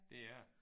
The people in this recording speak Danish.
Det er det